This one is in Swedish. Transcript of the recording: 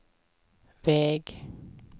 väg